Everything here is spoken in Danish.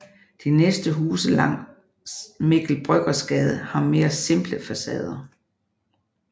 De næste huse langs Mikkel Bryggers Gade har mere simple facader